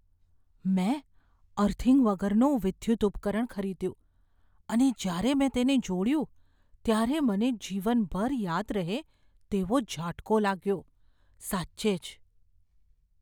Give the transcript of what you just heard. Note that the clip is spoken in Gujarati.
મેં અર્થિંગ વગરનું વિદ્યુત ઉપકરણ ખરીદ્યું અને જ્યારે મેં તેને જોડ્યું ત્યારે મને જીવનભર યાદ રહે તેવો ઝાટકો લાગ્યો, સાચે જ.